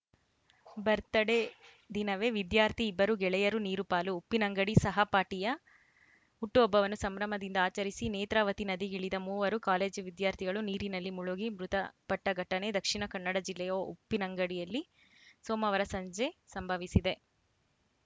birthday ದಿನವೇ ವಿದ್ಯಾರ್ಥಿ ಇಬ್ಬರು ಗೆಳೆಯರು ನೀರುಪಾಲು ಉಪ್ಪಿನಂಗಡಿ ಸಹಪಾಠಿಯ ಹುಟ್ಟುಹಬ್ಬವನ್ನು ಸಂಭ್ರಮದಿಂದ ಆಚರಿಸಿ ನೇತ್ರಾವತಿ ನದಿಗಿಳಿದ ಮೂವರು ಕಾಲೇಜು ವಿದ್ಯಾರ್ಥಿಗಳು ನೀರಿನಲ್ಲಿ ಮುಳುಗಿ ಮೃತಪಟ್ಟಘಟನೆ ದಕ್ಷಿಣ ಕನ್ನಡ ಜಿಲ್ಲೆಯ ಉಪ್ಪಿನಂಗಡಿಯಲ್ಲಿ ಸೋಮವಾರ ಸಂಜೆ ಸಂಭವಿಸಿದೆ